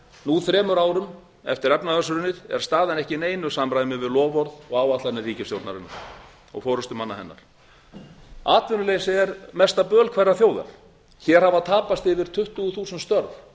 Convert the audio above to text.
nú þremur árum eftir efnahagshrunið er staðan ekki í neinu samræmi við loforð og áætlanir ríkisstjórnarinnar og forustumanna hennar atvinnuleysi er mesta böl hverrar þjóðar hér hafa tapast yfir tuttugu þúsund störf